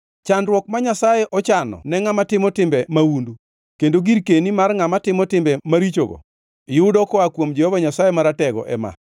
“Chandruok ma Nyasaye ochano ne ngʼama timo timbe mahundu, kendo girkeni mar ngʼama timo timbe marichogo yudo koa kuom Jehova Nyasaye Maratego ema: